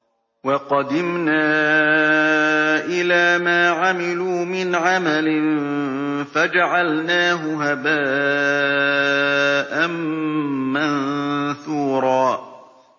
وَقَدِمْنَا إِلَىٰ مَا عَمِلُوا مِنْ عَمَلٍ فَجَعَلْنَاهُ هَبَاءً مَّنثُورًا